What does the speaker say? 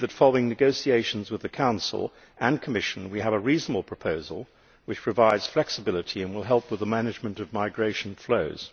We believe that, following negotiations with the Council and the Commission, we have a reasonable proposal which provides flexibility and will help with the management of migration flows.